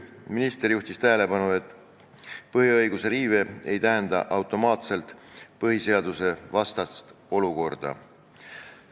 Minister juhtis tähelepanu, et põhiõiguste riive ei tähenda automaatselt põhiseadusvastast olukorda.